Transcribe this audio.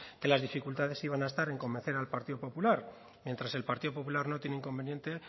que las dificultades iban a estar en convencer al partido popular mientras que el partido popular no tiene inconveniente